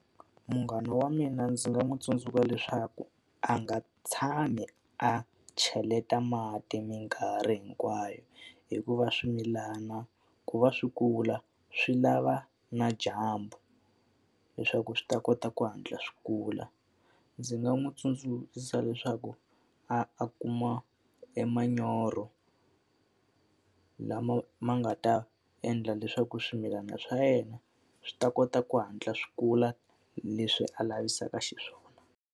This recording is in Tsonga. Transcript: Munghana wa mina ndzi nga n'wi tsundzuxa leswaku a nga tshami a cheleta mati minkarhi hinkwayo, hikuva swimilana ku va swi kula swi lava na dyambu leswaku swi ta kota ku hatla swi kula. Ndzi nga n'wi tsundzuxa leswaku a kuma emanyoro lama ma nga ta endla leswaku swimilana swa yena swi ta kota ku hatla swi kula hi leswi a lavisaka xiswona.